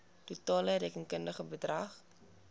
totale rekenkundige bedrag